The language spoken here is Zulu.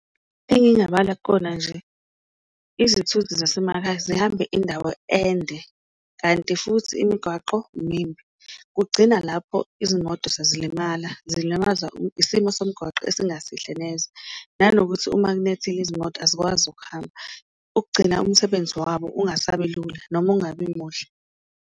Engingabala kukona nje, izithuthi zasemakhaya zihambe indawo ende, kanti futhi imigwaqo mimbi kugcina lapho izimoto sezilimaza zilimaza isimo somgwaqo esingasihle neze, nanokuthi uma kunethile izimoto azikwazi ukuhamba. Ukugcina umsebenzi wabo ungasabi lula noma ungabi muhle.